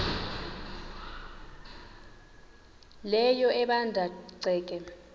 leyo ebanda ceke